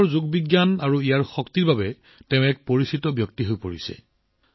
ভাৰতৰ যোগ বিজ্ঞান আৰু বিশ্বত ইয়াৰ শক্তিৰ তেওঁ এক বিশিষ্ট মুখ হৈ পৰিছে